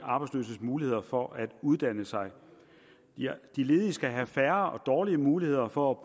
arbejdsløses muligheder for at uddanne sig de ledige skal have færre og dårligere muligheder for